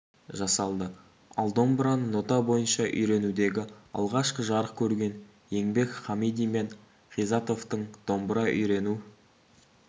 жасалды ал домбыраны нота бойынша үйренудегі алғашқы жарық көрген еңбек хамиди мен ғизатовтың домбыра үйрену